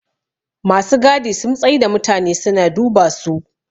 masu gadi sum tsai da mutane suna duba su